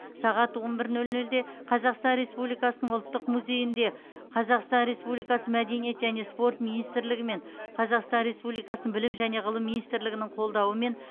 сағат он бір нөл нөлде қазақстан республикасының ұлттық музейінде қазақстан республикасы мәдениет және спорт министрлігі мен қазақстан республикасы білім және ғылым министрлігінің қолдауымен